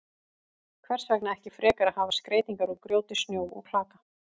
Hvers vegna ekki frekar að hafa skreytingar úr grjóti, snjó og klaka?